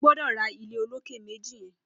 Ó gbọdọ rà ilé ólóké méji yèn